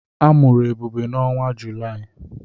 A mụrụ Ebube n'ọnwa Julaị.